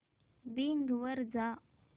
Bing वर जा